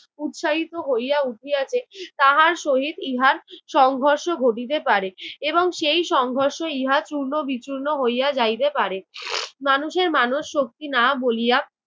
উৎসাহিত হইয়া উঠিয়াছে তাহার সহিত ইহার সংঘর্ষ ঘটিতে পারে এবং সেই সংঘর্ষ ইহা চূর্ণ বিচূর্ণ হইয়া যাইতে পারে। মানুষের মানবশক্তি না বলিয়া